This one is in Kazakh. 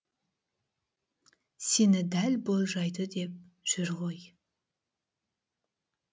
сені дәл болжайды деп жүр ғой